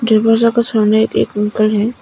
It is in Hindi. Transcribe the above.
दरवाजा के सामने एक अंकल है।